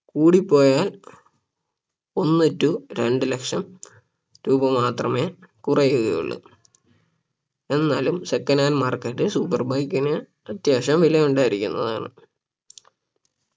കൂടിപ്പോയാൽ ഒന്ന് to രണ്ട്‌ ലക്ഷം രൂപ മാത്രമേ കുറയുകയുള്ളൂ എന്നാലും second hand market super bike ന് അത്യാവശ്യം വില ഉണ്ടായിരിക്കുന്നതാണ്